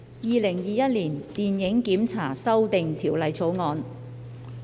《2021年電影檢查條例草案》。